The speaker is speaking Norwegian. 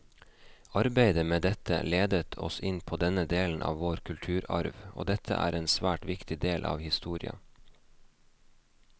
Arbeidet med dette ledet oss inn på denne delen av vår kulturarv, og dette er en svært viktig del av historia.